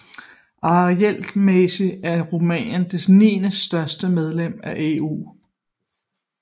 Arealmæssigt er Rumænien det niendestørste medlem af EU